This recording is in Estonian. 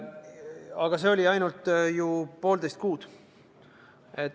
Aga see oli ainult ju poolteist kuud.